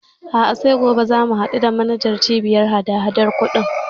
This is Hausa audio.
A'a sai gobe za mu haɗu da manajan Cibiyar hadahadan kuɗin.